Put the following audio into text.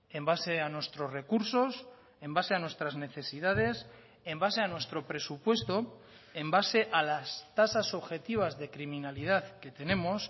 en base a nuestros recursos en base a nuestras necesidades en base a nuestro presupuesto en base a las tasas objetivas de criminalidad que tenemos